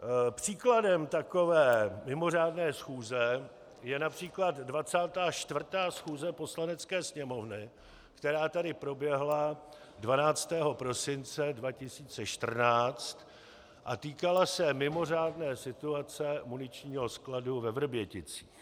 Příkladem takové mimořádné schůze je například 24. schůze Poslanecké sněmovny, která tady proběhla 12. prosince 2014 a týkala se mimořádné situace muničního skladu ve Vrběticích.